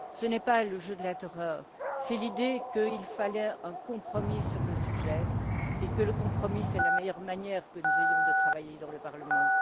Ce n'est pas le jeu de la terreur, c'est l'idée qu'il fallait un compromis sur le sujet et que le compromis, c'est la meilleure manière que nous ayons de travailler dans ce Parlement.